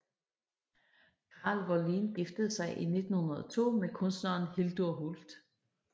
Karl Wåhlin giftede sig i 1902 med kunstneren Hildur Hult